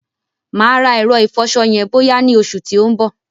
Mà á rà ẹ̀rọ ìfọṣọ yẹn bọ́yá ni oṣù tí ó ń bọ̀.